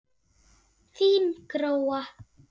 Þín Gróa.